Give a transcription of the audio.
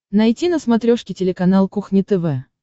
найти на смотрешке телеканал кухня тв